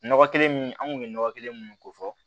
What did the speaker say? Nɔgɔ kelen min an kun be nɔgɔ kelen mun ko fɔ